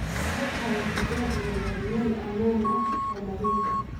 Ku hay digaagga yaryar meel ammaan ah oo nadiif ah.